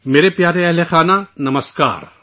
میرے پیارے اہلِ خانہ، نمسکار